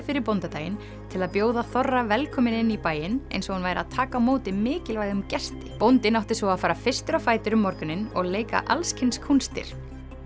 fyrir bóndadaginn til að bjóða þorra velkominn inn í bæinn eins og hún væri að taka á móti mikilvægum gesti bóndinn átti svo að fara fyrstur á fætur um morguninn og leika alls kyns kúnstir